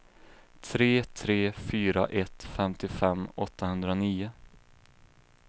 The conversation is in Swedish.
tre tre fyra ett femtiofem åttahundranio